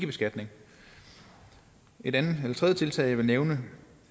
beskatning et tredje tiltag jeg vil nævne